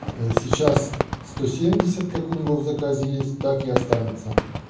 ээ сейчас сто семьдесят как у него в заказе есть так и останется